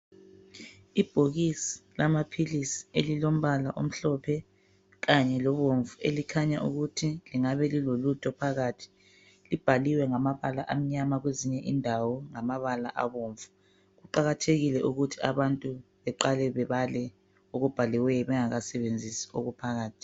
Ibhokisi lamaphilisi elilombala omhlophe kanye lobomvu elikhanya ukuthi lingabe lilolutho phakathi. Libhaliwe ngamabala amnyama, kwezinye indawo ngamabala abomvu. Kuqakathekile ukuthi abantu beqale bebale okubhaliweyo bengakasebenzisi okuphakathi.